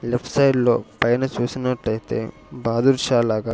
Left side లో పైన చూసినట్లయితే బాదుర్శాలాగ .